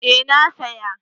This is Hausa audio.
eh na saya